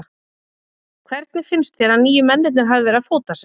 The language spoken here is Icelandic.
Hvernig finnst þér að nýju mennirnir hafi verið að fóta sig?